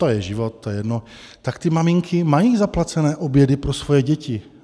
to je život, to je jedno, tak ty maminky mají zaplacené obědy pro svoje děti.